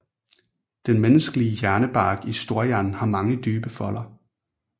Den menneskelige hjernebark i storhjernen har mange dybe folder